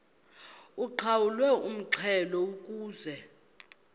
uqhawulwe umxhelo ukuze